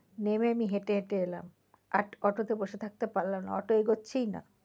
নেমে আমি হেঁটে হেঁটে এলাম আর auto তে বসে থাকতে পারলাম না auto এগোচ্ছেই না।